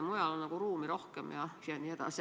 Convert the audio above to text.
Mujal on nagu ruumi rohkem jne.